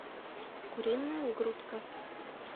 куриная грудка